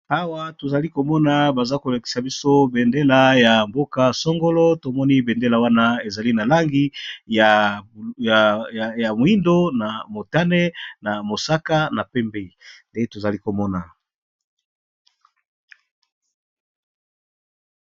Awa tozali komona baza kolekisa biso bendela ya mboka songolo tomoni bendela wana ezali na langi ya moindo na motane na mosaka na pembe nde tozali komona.